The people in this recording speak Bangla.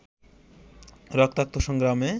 রক্তাক্ত সংগ্রামে